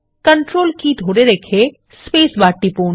control key ধরে রেখে space bar চাপুন